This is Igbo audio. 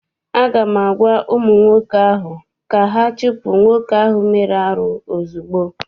Aga m agwa ụmụ nwoke ahụ ka ha chụpụ nwoke ahụ mere arụ ozugbo!